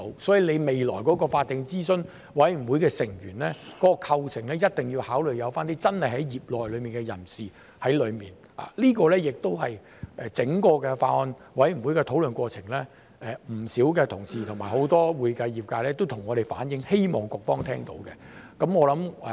所以，未來法定諮詢委員會成員的構成，一定要考慮加入真正的業內人士，這亦是在整個法案委員會的討論過程中，不少同事及很多會計業界人士向我們反映，希望局方聽到。